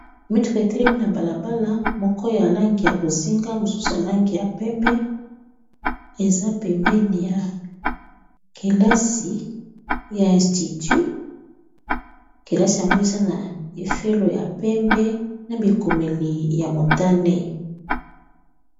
Mituka etelemi na bala bala moko ya langi ya bozinga mosusu na langi ya pembe. Eza pembeni ya kelasi ya institut, kelasi yango eza na efelo ya pembe na bi komeli ya motane.